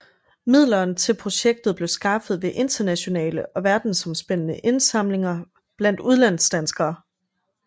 Midlerne til projektet blev skaffet ved internationale og verdens omspændende indsamlinger blandt udlandsdanskere